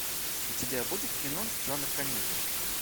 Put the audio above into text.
у тебя будет кино жанр комедия